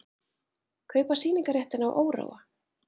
Kaupa sýningarréttinn á Óróa